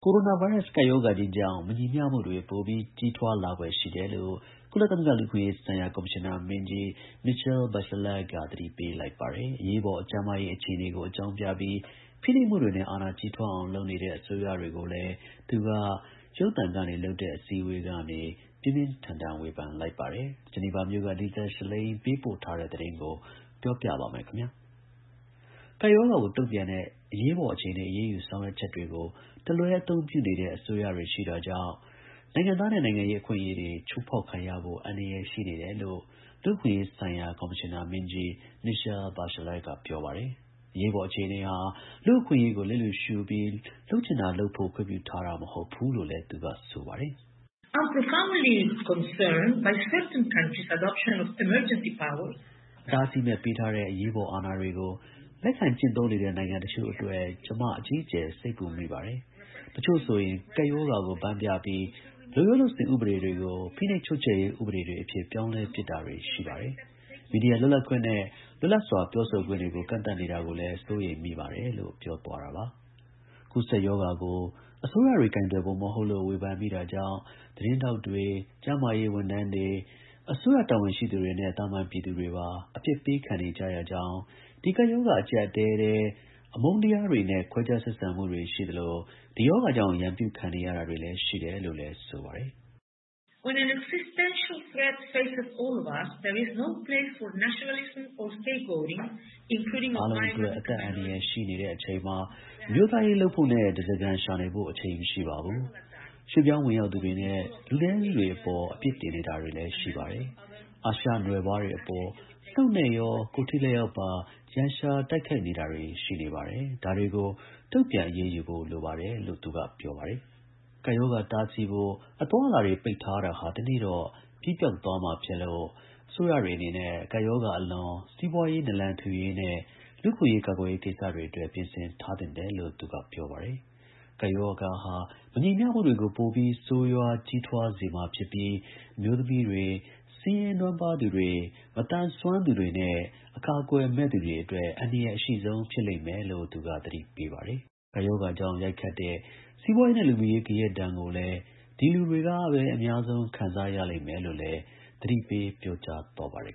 ကိုရိုနာဗိုင်းရပ်စ် ကပ်ရောဂါကြီးကြောင့် တည်ရှိဆဲ မညီမျှမှုတွေ ပိုပြီး ကြီးထွားလာဖွယ်ရှိတယ်လို့ ကုလသမဂ္ဂ လူ့အခွင့်အရေးဆိုင်ရာ ကော်မရှင်နာ မင်းကြီး Michelle Bachelet က သတိပေးလိုက်ပါတယ်။ အရေးပေါ် ကျန်းမာရေး အခြေအနေကို အကြောင်းပြပြီး ဖိနှိပ်မှုတွေနဲ့ အာဏာကြီးထွားအောင် လုပ်နေတဲ့ အစိုးရတွေကိုလည်း သူက ပြင်းပြင်းထန်ထန် ဝေဖန်လိုက်ပါတယ်။ ဒီအကြောင်းနဲ့ ပတ်သက်လို့ ဗွီအိုအေသတင်းထောက် Lisa Schlein ဂျီနီဗာမြို့က ပေးပို့တဲ့သတင်းကို ကိုရဲမင်းထွန်းက တင်ပြပေးထားပါတယ်။ ကပ်ရောဂါကို တုံ့ပြန်တဲ့ အရေးပေါ်အခြေအနေ အရေးယူ ဆောင်ရွက်ချက်တွေကို တလွဲအသုံးပြုနေတဲ့ အစိုးရတွေကြောင့် နိုင်ငံသားနဲ့ နိုင်ငံရေး အခွင့်အရေးတွေ ချိုးဖောက်ခံရဖို့ အန္တရာယ် ရှိနေတယ်လို့ လူ့အခွင့်အရေးဆိုင်ရာ ကော်မရှင်နာမင်းကြီး Michelle Bachelet က ပြောပါတယ်။ အရေးပေါ် အခြေအနေဟာ လူ့အခွင့်အရေးကို လျစ်လျူရှုပြီး လုပ်ချင်တာလုပ်ဖို့ ခွင့်ပြုထားတာ မဟုတ်ဘူးလို့လည်း သူက ဆိုပါတယ်။ “အတားဆီးမဲ့ ပေးထားတဲ့ အရေးပေါ် အာဏာတွေကို လက်ခံကျင့်သုံးနေတဲ့ နိုင်ငံတချို့အတွက် ကျမ အကြီးအကျယ် စိတ်ပူမိတယ်။ တချို့ဆိုရင် ကပ်ရောဂါကို ဗန်းပြပြီး လုပ်ရိုးလုပ်စဉ် ဥပဒေတွေကို ဖိနှိပ်ချုပ်ချယ်ရေး ဥပဒေတွေအဖြစ် ပြောင်းပစ်တာတွေရှိတယ်။ မီဒီယာလွတ်လပ်ခွင့်နဲ့ လွတ်လပ်စွာ ပြောဆိုခွင့်တွေကို ကန့်သတ်နေတာတွေကိုလည်း စိုးရိမ်မိပါတယ်” လို့ ပြောသွားတာပါ။ ကူးစက်ရောဂါကို အစိုးရတွေ ကိုင်တွယ်ပုံ မဟုတ်လို့ ဝေဖန်မိတာကြောင့် သတင်းထောက်တွေ၊ ကျန်းမာရေးဝန်ထမ်းတွေ၊ အစိုးရ တာဝန်ရှိသူတွေနဲ့ သာမန်ပြည်သူတွေပါ အပြစ်ပေးခံနေကြရကြောင်း၊ ဒီကပ်ရောဂါ အကျပ်အတည်းထဲ အမုန်းတရားတွေနဲ့ ခွဲခြားဆက်ဆံမှုတွေ ရှိသလို ဒီရောဂါကြောင့် ရန်ပြုခံနေရတာတွေ ရှိတယ်လို့လည်း ဆိုပါတယ်။ “အားလုံးအတွက် အသက်အန္တရာယ်ရှိနေတဲ့ အချိန်မှာ အမျိုးသားရေးလုပ်ဖို့နဲ့ ဓားစာခံရှာနေဖို့ အချိန်မရှိပါဘူး။ ရွှေ့ပြောင်းဝင်ရောက်သူတွေနဲ့ လူနည်းစုတွေ အပေါ် အပြစ်တင်နေတာတွေ ရှိပါတယ်။ အရှေ့အာရှနွယ်ဖွားတွေအပေါ် နှုတ်နဲ့ရော ကိုယ်ထိလက်ရောက်ပါ ရန်ရှာတိုက်ခိုက်နေတာတွေ ရှိနေပါတယ်။ ဒါတွေကို တုံ့ပြန်အရေးယူဖို့ လိုပါတယ်” လို့ သူက ပြောပါတယ်။ ကပ်ရောဂါတားဆီးဖို့ အသွားအလာတွေ ပိတ်ထားတာဟာ တနေ့တော့ ပြီးပျောက်သွားမှာဖြစ်လို့ အစိုးရတွေအနေနဲ့ ကပ်ရောဂါအလွန် စီးပွားရေး နာလံထူရေးနဲ့ လူ့အခွင့်အရေး ကာကွယ်ရေး ကိစ္စတွေအတွက် ပြင်ဆင်ထားသင့်တယ်လို့ သူက ပြောပါတယ်။ ဒီကပ်ရောဂါဟာ မညီမျှမှုတွေကို ပိုပြီး ဆိုးရွားကြီးထွားစေမှာဖြစ်ပြီး အမျိုးသမီးတွေ၊ ဆင်းရဲနွမ်းပါးသူတွေ၊ မသန်စွမ်းသူတွေနဲ့ အကာအကွယ်မဲ့သူတွေအတွက် အန္တရာယ်အရှိဆုံး ဖြစ်လိမ့်မယ်လို့ သူက သတိပေးပါတယ်။ ကပ်ရောဂါကြောင့် ရိုက်ခတ်တဲ့ စီးပွားရေးနဲ့ လူမှုရေး ဂယက်ဒဏ်ကိုလည်း ဒီလူတွေပဲ အများဆုံး ခံစားရလိမ့်မယ်လို့လည်း သတိပေး ပြောကြားသွားပါတယ်